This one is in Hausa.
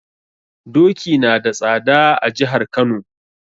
Doki nada tsada a jihar Kano.